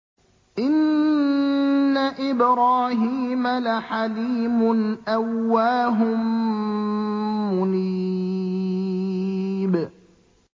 إِنَّ إِبْرَاهِيمَ لَحَلِيمٌ أَوَّاهٌ مُّنِيبٌ